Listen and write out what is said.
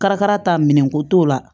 Karakara ta minɛnko t'o la